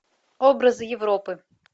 образы европы